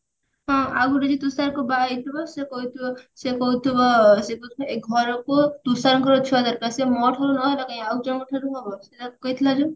ହଁ ଆଉଗୋଟେ ବି ତୁଷାର କୁ ବାହାହେଇଥିବ ସେ କହିଥିବ ସେ କହୁଥିବ ଏ ଘରକୁ ତୁଷାରଙ୍କ ଛୁଆ ଦରକାର ସେ ମୋ ଠାରୁ ନହେଲା ନାଇଁ ଆଉ ଜଣଙ୍କ ଠୁ ଆଉ ଜଣଙ୍କ ଠାରୁ ହବ ସେଇଟା କହିଥିଲା ଯେ